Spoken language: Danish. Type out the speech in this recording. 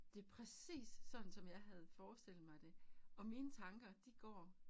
Det præcis sådan som jeg havde forestillet mig det og mine tanker de går